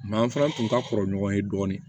an fana tun ka kɔrɔ ɲɔgɔn ye dɔɔnin